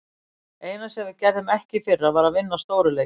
Eina sem við gerðum ekki í fyrra, var að vinna stóru leikina.